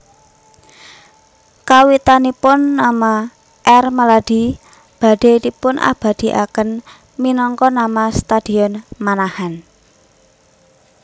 Kawitanipun nama R Maladi badhé dipunabadikaken minangka nama Stadion Manahan